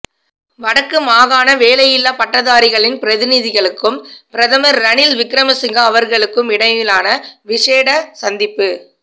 வடக்கு மாகாண வேலையில்லாப் பட்டதாரிகளின் பிரதிநிதிகளுக்கும் பிரதமர் ரணில் விக்கிரமிசிங்கா அவர்களுக்குமிடையிலான விஷேட சந்திப்பு